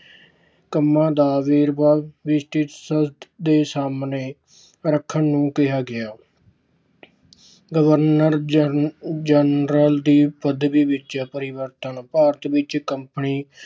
ਕੰਮਾਂ ਦਾ ਵੇਰਵਾ ਲਿਖ ਕੇ ਸੰਸਦ ਦੇ ਸਾਹਮਣੇ ਰੱਖਣ ਨੂੰ ਕਿਹਾ ਗਿਆ। governor general ਦੀ ਪਦਵੀ ਵਿਚ ਪਰਿਵਰਤਨ- ਭਾਰਤ ਵਿੱਚ company